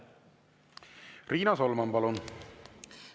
Riina Solman, palun!